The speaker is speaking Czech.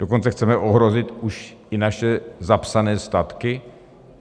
Dokonce chceme ohrozit už i naše zapsané statky?